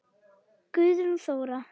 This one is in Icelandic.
Guðrún Þóra.